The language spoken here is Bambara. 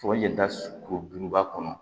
yɛlɛda kuruba kɔnɔ